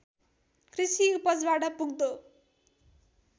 कृषि उपजबाट पुग्दो